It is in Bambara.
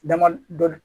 Dama dɔ